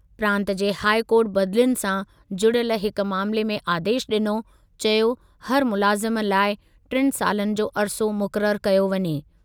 प्रांत जे high court बदिलियुनि सां जुड़ियल हिकु मामिले में आदेशु ॾिनो, चयो हर मुलाज़िम लाइ टिनि सालनि जो अरिसो मुक़ररु कयो वञे।